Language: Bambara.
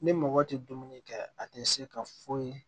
Ni mɔgɔ tɛ dumuni kɛ a tɛ se ka foyi